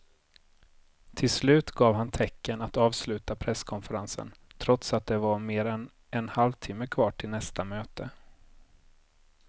Till slut gav han tecken att avsluta presskonferensen trots att det var mer än en halvtimme kvar till nästa möte.